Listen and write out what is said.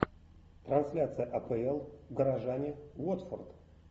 трансляция апл горожане уотфорд